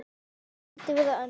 Gildin verða önnur.